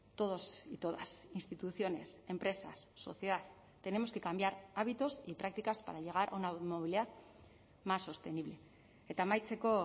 todos y todas instituciones empresas sociedad tenemos que cambiar hábitos y prácticas para llegar a una movilidad más sostenible eta amaitzeko